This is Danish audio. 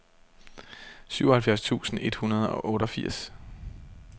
syvoghalvfjerds tusind et hundrede og otteogfirs